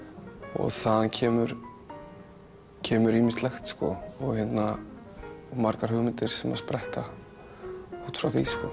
og þaðan kemur kemur ýmislegt sko og margar hugmyndir sem spretta út frá því sko